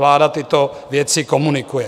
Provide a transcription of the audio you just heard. Vláda tyto věci komunikuje.